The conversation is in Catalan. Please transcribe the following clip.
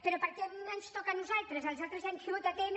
però per què ens toca a nosaltres els altres ja han tingut atm